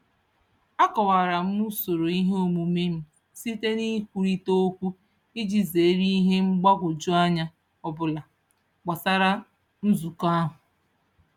A kọwara m usoro ihe omume m site n'ikwurita okwu iji zeere ihe mgbagwojuanya ọbụla gbasara nzukọ ahụ.